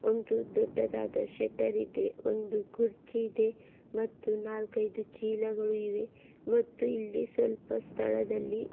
ಒಂದು ದೊಡ್ಡದಾದ ಶಟರ್ ಇದೆ ಒಂದು ಕುರ್ಚಿ ಇದೆ ಮತ್ತು ನಾಲ್ಕೈದು ಚೀಲಗಳು ಇವೆ ಮತ್ತು ಇಲ್ಲಿ ಸ್ವಲ್ಪ ಸ್ಥಳದಲ್ಲಿ--